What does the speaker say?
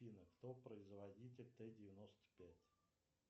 афина кто производитель тэ девяносто пять